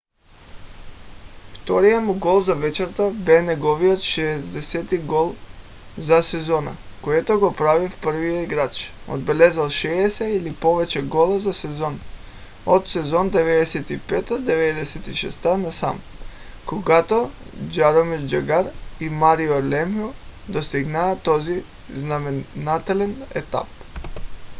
вторият му гол за вечерта бе неговият 60 - ти за сезона което го прави в първия играч отбелязал 60 или повече гола за сезон от сезон 95 – 96 насам когато джаромир джагър и марио лемьо достигнаха този знаменателен етап